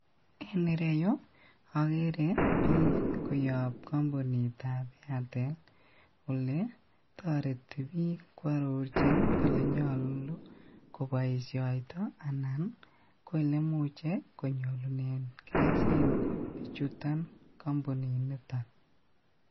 En ireyu okere bik koyob kompunitab airtel ole toreti bik kwororjin olenyolu koboishoitoi anan ko elemuche konyorunen keljin bichuton kompuniniton.